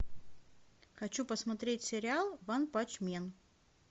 хочу посмотреть сериал ванпанчмен